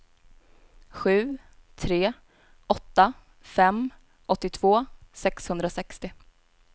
sju tre åtta fem åttiotvå sexhundrasextio